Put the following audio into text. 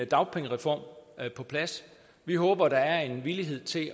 dagpengereform på plads vi håber der er en villighed til